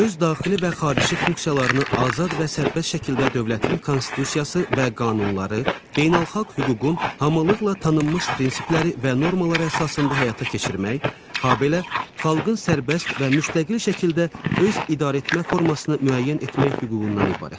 Öz daxili və xarici funksiyalarını azad və sərbəst şəkildə dövlətin Konstitusiyası və qanunları, beynəlxalq hüququn hamılıqla tanınmış prinsipləri və normalarına əsasında həyata keçirmək, habelə xalqın sərbəst və müstəqil şəkildə öz idarəetmə formasını müəyyən etmək hüququndan ibarətdir.